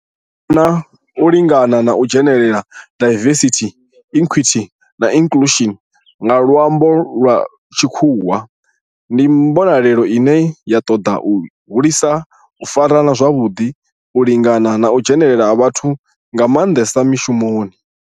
U fhambana, u lingana na u dzhenelela diversity, equity and inclusion nga lwambo lwa tshikhuwa ndi mbonelelo ine ya toda u hulisa u farana zwavhudi, u lingana na u dzhenelela ha vhathu nga mandesa mishumoni.